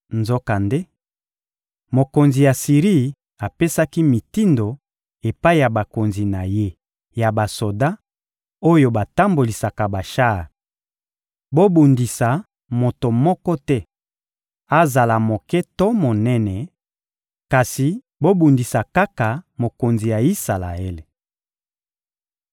Nzokande, mokonzi ya Siri apesaki mitindo epai ya bakonzi na ye ya basoda oyo batambolisaka bashar: — Bobundisa moto moko te, azala moke to monene; kasi bobundisa kaka mokonzi ya Isalaele.